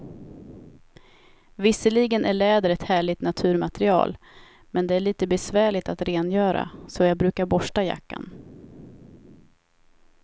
Visserligen är läder ett härligt naturmaterial, men det är lite besvärligt att rengöra, så jag brukar borsta jackan.